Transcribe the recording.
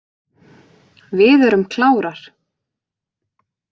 Við erum klárar.